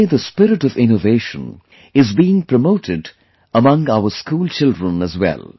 Today the spirit of innovation is being promoted among our school children as well